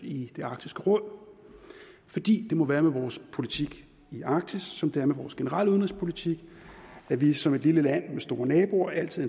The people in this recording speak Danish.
i arktisk råd fordi det må være med vores politik i arktis som det er med vores generelle udenrigspolitik at vi som et lille land med store naboer altid